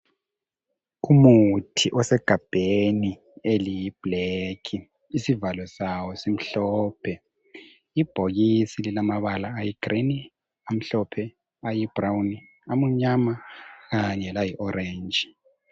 Umuthi osegabheni eliyiblack. Isivalo sawo, simhlophe. Ibhokisi lilamabala ayigreen, amhlophe, ayibrown, amunyama. Kanye layi- orange.